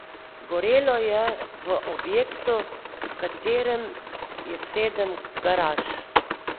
Gorelo je v objektu, v katerem je sedem garaž.